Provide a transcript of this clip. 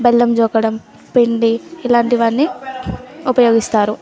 బెల్లం జోకడం పెండి ఇలాంటియన్ని ఉపయోగిస్తారు .